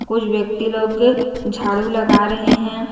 कुछ व्यक्ति लोग झाड़ू लगा रहे हैं।